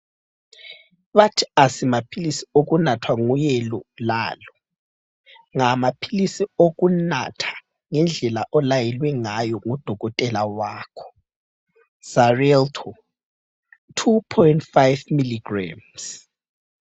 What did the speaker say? Bathi asimaphilisi okunathwa nguyelo lalo. Ngamaphilisi okunatha ngendlela olayelwe ngayo ngudokotela wakho Xarelto 2,5 mg.